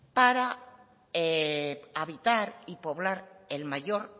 para habitar y poblar el mayor